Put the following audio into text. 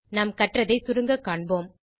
நாம் கற்றதை சுருங்க காண்போம்